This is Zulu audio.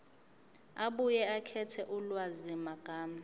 abuye akhethe ulwazimagama